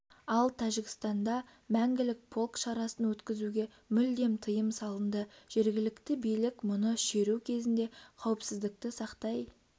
ал тәжікстанда мәңгілік полк шарасын өткізуге мүлдем тиым салынды жергілікті билік мұны шеру кезінде қауіпсіздікті сақтай